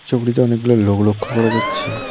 ছবিটিতে অনেকগুলো লোক লক্ষ্য করা যাচ্ছে।